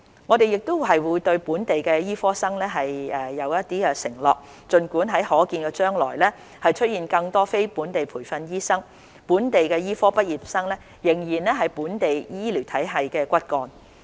我們亦會對本地醫科生作承諾，儘管在可見的將來會出現更多非本地培訓醫生，本地醫科畢業生仍然會是本地醫療體系的骨幹。